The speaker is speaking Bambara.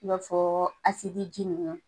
I b'a fɔ asibiji nunnu .